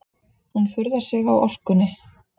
Hún furðar sig á orkunni.